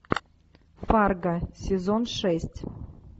фарго сезон шесть